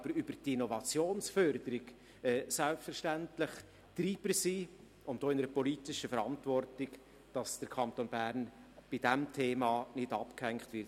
Aber über die Innovationsförderung ist die VOL selbstverständlich auch Treiber und steht auch in der politischen Verantwortung, dass der Kanton Bern bei diesem Thema nicht abgehängt wird.